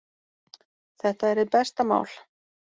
Þetta er hið besta mál.